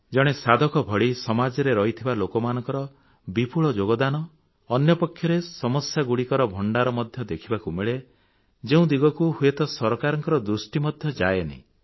ଜଣେ ସାଧକ ଭଳି ସମାଜରେ ରହିଥିବା ଲୋକମାନଙ୍କର ବିପୁଳ ଯୋଗଦାନ ଅନ୍ୟପକ୍ଷରେ ସମସ୍ୟାଗୁଡ଼ିକର ଭଣ୍ଡାର ମଧ୍ୟ ଦେଖିବାକୁ ମିଳେ ଯେଉଁ ଦିଗକୁ ହୁଏତ ସରକାରଙ୍କ ଦୃଷ୍ଟି ମଧ୍ୟ ଯାଏନି